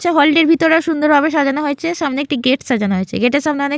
হল -টির ভিতরে সুন্দর ভাবে সাজানো হয়েছে। সামনে একটি গেট সাজানো হয়েছে। গেট -এর সামনে অনেক--